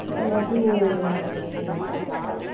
இல்லாட்டி உம் ஹம் ஹம் Noise